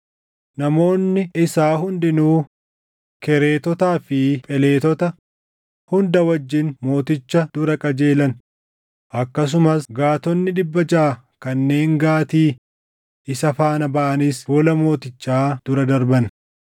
Namoonni isaa hundinuu Kereetotaa fi Pheletota hunda wajjin mooticha dura qajeelan; akkasumas Gaatonni dhibba jaʼa kanneen Gitii isa faana baʼanis fuula mootichaa dura darban.